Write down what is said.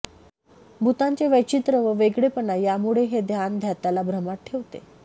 भूतांचे वैचित्र्य व वेगळेपणा यामुळे हे ज्ञान ज्ञात्याला भ्रमात ठेवते